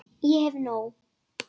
Ég hef nóg.